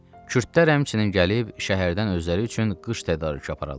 Kürdlər həmçinin gəlib şəhərdən özləri üçün qış tədarükü aparırlar.